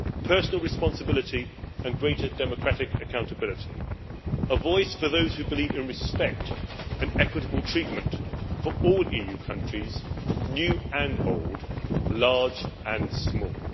personal responsibility and greater democratic accountability, a voice for those who believe in respect and equitable treatment for all EU countries, new and old, large and small.